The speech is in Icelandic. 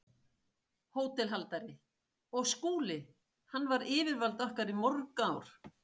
HÓTELHALDARI: Og Skúli- hann var yfirvald okkar í mörg ár.